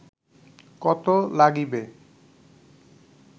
কত লাগিবে